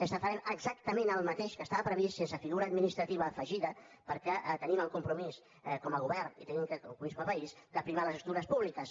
és que farem exactament el mateix que estava previst sense figura administrativa afegida perquè tenim el compromís com a govern i tenim el compromís com a país de primar les estructures públiques